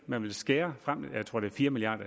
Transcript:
man vil skære fire milliard